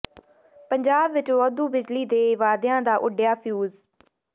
ਪੰਜਾਬ ਵਿੱਚ ਵਾਧੂ ਬਿਜਲੀ ਦੇ ਵਾਅਦਿਆਂ ਦਾ ਉੱਡਿਆ ਫਿਊਜ਼